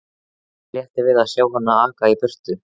Honum létti við að sjá hana aka í burtu.